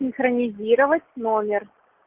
синхронизировать номер